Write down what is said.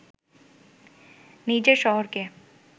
নিজের শহরকে